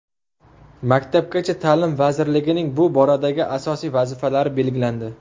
Maktabgacha ta’lim vazirligining bu boradagi asosiy vazifalari belgilandi.